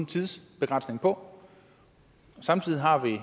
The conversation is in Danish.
tidsbegrænsning på og samtidig har vi en